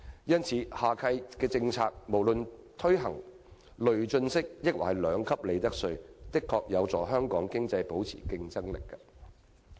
因此，下屆政府無論是推行累進式或兩級制利得稅的政策，的確會有助香港經濟保持競爭力。